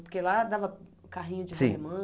Porque lá dava carrinho de rolimã. Sim